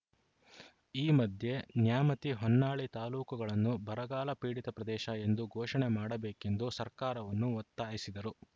ಈ ಮಧ್ಯೆ ನ್ಯಾಮತಿಹೊನ್ನಾಳಿ ತಾಲೂಕುಗಳನ್ನು ಬರಗಾಲ ಪೀಡಿತಪ್ರದೇಶ ಎಂದು ಘೋಷಣೆ ಮಾಡಬೇಕೆಂದು ಸರ್ಕಾರವನ್ನು ಒತ್ತಾಯಿಸಿದರು